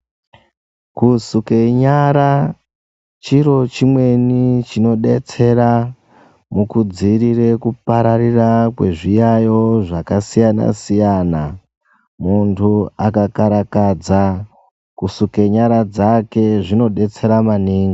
Kusuke nyara chiro chimweni chinodetsera mukudzirire kupararira kwezviyayiyo zvakasiyana siyana muntu akakarakadza kusuke nyara dzake zvinodetsera maningi.